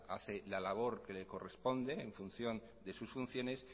hace la labor que le corresponde en función de sus funciones